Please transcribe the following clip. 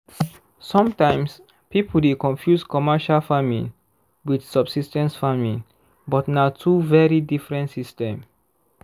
sometimes people dey confuse commercial farming with subsis ten ce farming but na two very diffrent system